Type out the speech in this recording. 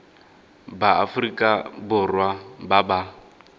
ba aforika borwa ba ba